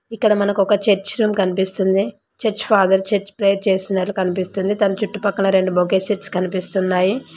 ఇక్కడ మనకు ఒక చర్చ్ రూమ్ కనిపిస్తుంది చర్చ్ ఫాదర్ చర్చ్ ప్రేయర్ చేస్తున్నట్లు కనిపిస్తున్నది దాని చుట్టుపక్కల రెండు బొకే సెట్స్ కనిపిస్తున్నాయి.